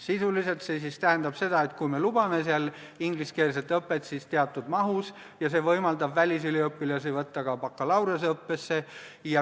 Sisuliselt tähendab see seda, et kui me lubame ingliskeelset õpet, siis üksnes teatud mahus, ja see võimaldab välisüliõpilasi võtta ka bakalaureuseõppesse.